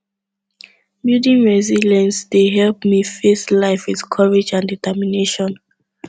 building resilience dey help me face life with courage and determination